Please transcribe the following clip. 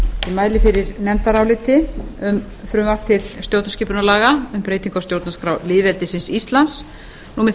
mæli fyrir nefndaráliti um frumvarp til stjórnskipunarlaga um breytingu á stjórnarskrá lýðveldisins íslands númer